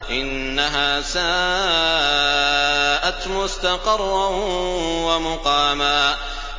إِنَّهَا سَاءَتْ مُسْتَقَرًّا وَمُقَامًا